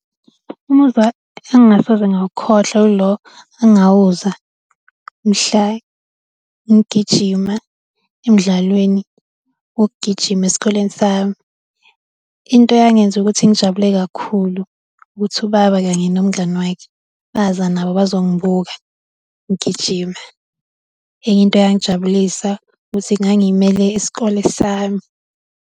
Umuzwa engingasoze ngawukhohlwa ilo engawuzwa mhla ngigijima emdlalweni wokugijima esikoleni sami. Into eyangenza ukuthi ngijabule kakhulu, ukuthi ubaba kanye nomngani wakhe baza nabo bazongibuka ngigijima, enye into eyangijabulisa ukuthi ngangimele isikole sami.